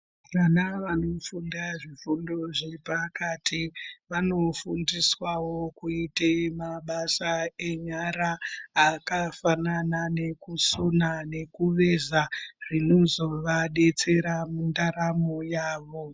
Vana vanofunda zvifundo zvepakati vanofundiswawo kuite mabasa enyara akafanana nekusona nekuveza zvinozovadetsera mundaramo yavo.